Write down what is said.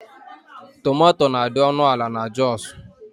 Tomatò na-adi ọnụ ala n'Joosu.